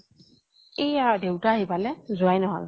এইয়া দেউতা আহি পালে, যোৱাই নহল।